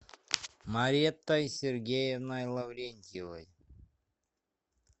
маретой сергеевной лаврентьевой